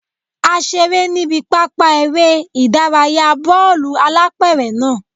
A seré níbi pápá eré ìdárayá bọ́ọ̀lù-alápẹ̀rẹ̀ náà